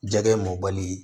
Jɛgɛ mɔli